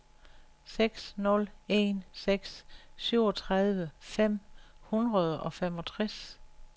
seks nul en seks syvogtredive fem hundrede og femogtres